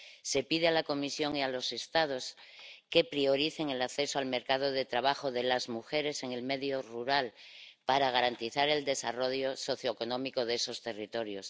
Se pide asimismo a la Comisión y a los Estados que prioricen el acceso al mercado de trabajo de las mujeres en el medio rural para garantizar el desarrollo socioeconómico de esos territorios.